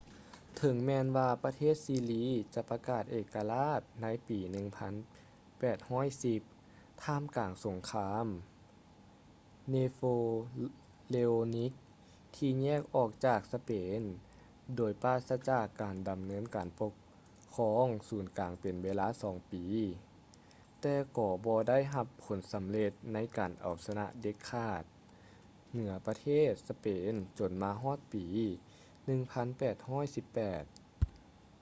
ເຖິງແມ່ນວ່າປະເທດຊິລີຈະປະກາດເອກະລາດໃນປີ 1810 ທ່າມກາງສົງຄາມ napoleonic ທີ່ແຍກອອກຈາກສະເປນໂດຍປາສະຈາກການດຳເນີນການປົກຄອງສູນກາງເປັນເວລາສອງປີ ແຕ່ກໍບໍ່ໄດ້ຮັບຜົນສຳເລັດໃນການເອົາຊະນະເດັດຂາດເໜືອປະເທດ spain ຈົນມາຮອດປີ 1818